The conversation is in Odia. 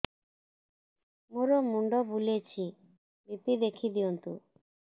ମୋର ମୁଣ୍ଡ ବୁଲେଛି ବି.ପି ଦେଖି ଦିଅନ୍ତୁ